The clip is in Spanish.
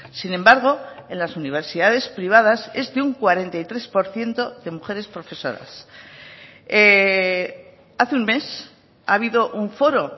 sin embargo en las universidades privadas es de un cuarenta y tres por ciento de mujeres profesoras hace un mes ha habido un foro